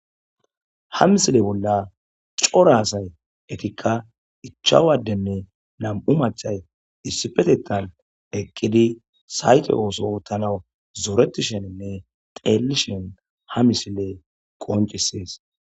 Ha misile bolla coraasay etikka ichawaddenne na'mu machay issipetettan eqqidi sayte ooso tanaw zoreti sheninne xeellishen ha misile qoncisees